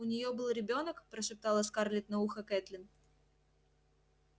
у неё был ребёнок прошептала скарлетт на ухо кэтлин